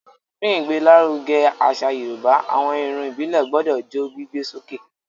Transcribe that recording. Fún ìgbé l'áruge àṣà yorùbá, àwọn Irun ìbílè gbodò jó gbígbé sókè